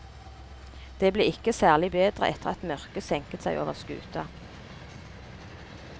Det ble ikke særlig bedre etter at mørket senket seg over skuta.